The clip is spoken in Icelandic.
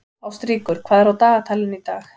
Ástríkur, hvað er á dagatalinu í dag?